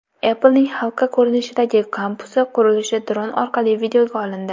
Apple’ning halqa ko‘rinishidagi kampusi qurilishi dron orqali videoga olindi.